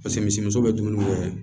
Paseke misi muso bɛ dumuni kɛ